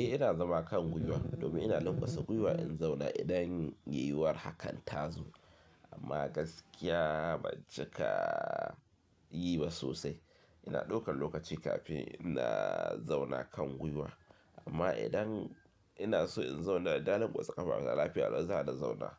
Eh ina zama kan gwuiwa domin ina lankwasa gwuiwa in zauna idan yiwuwar hakan tazo amma gaskiya ban cika yi ba sosai. Ina ɗaukar lokaci kafin na zauna kan gwuiwa amma idan ina so in zauna dana lankwasa ƙafa na, lafiya lau zana zauna